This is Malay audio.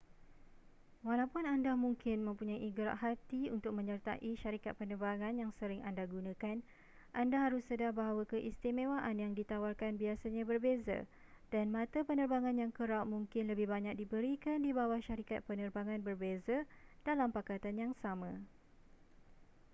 walaupun anda mungkin mempunyai gerak hati untuk menyertai syarikat penerbangan yang sering anda gunakan anda harus sedar bahawa keistimewaan yang ditawarkan biasanya berbeza dan mata penerbangan yang kerap mungkin lebih banyak diberikan di bawah syarikat penerbangan berbeza dalam pakatan yang sama